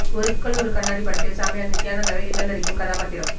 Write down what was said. ஒரு கல் ஒரு கண்ணாடி படத்தில் சாமியார் நித்யானந்தாவை கிண்டலடிக்கும் கதாபாத்திரம்